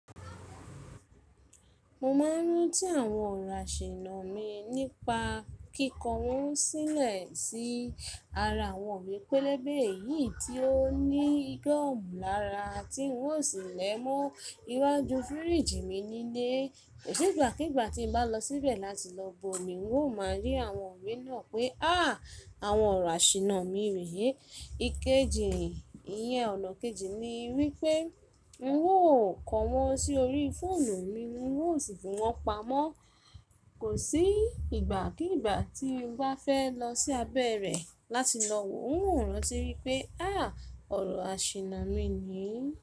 Mo máa ń rántí àwọn ọ̀rọ̀ àṣìná mi nípa kíkọ wọ́n sílẹ̀ sí ara àwọn ìwé pélébé yìí tí ó ní gọọmù lára, tí ń o sí lẹ̀ mọ́ iwájú fíríjì mi nílé. Kò sí ìgbàkígbà tí mo bá lọ síbẹ̀ láti lọ bu omi, ń ó máa rí àwọn ìwé náà pé "áà! Àwọn ọ̀rọ̀ àṣìná mi rè é." Ikeji, ìyẹn ọ̀nà kejì ni wípé ń wò ó kọ wọ́n sí orí fóònù mi, ń wò sì fi wọ́n pamọ́. Kò sí ìgbàkígbà tí ń bá fẹ́ lọ sí abẹ́ rẹ̀ láti lọ wò ó, ń wò rán tí wípé "áà! Ọ̀rọ̀ àṣìná mi nìyí."